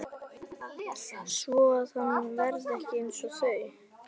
Svoað hann verði ekki einsog þau.